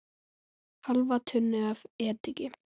Hálfa tunnu af ediki.